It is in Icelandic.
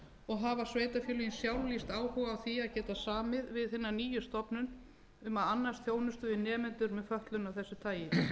og hafa sveitarfélögin sjálf lýst áhuga á því að geta samið við hina nýju stofnun um að annast þjónustu við nemendur með fötlun af þessu tagi